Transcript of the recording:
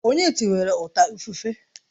Onye tiwara ọta ifufe?